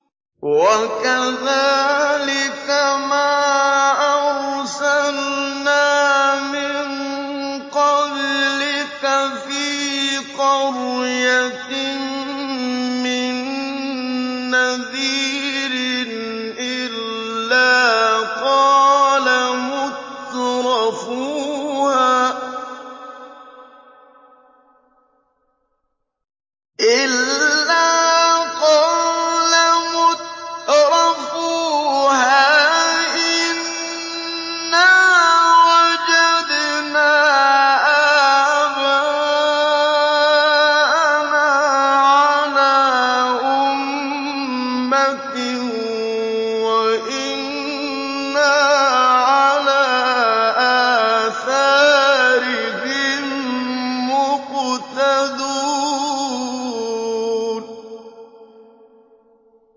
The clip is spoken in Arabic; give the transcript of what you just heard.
وَكَذَٰلِكَ مَا أَرْسَلْنَا مِن قَبْلِكَ فِي قَرْيَةٍ مِّن نَّذِيرٍ إِلَّا قَالَ مُتْرَفُوهَا إِنَّا وَجَدْنَا آبَاءَنَا عَلَىٰ أُمَّةٍ وَإِنَّا عَلَىٰ آثَارِهِم مُّقْتَدُونَ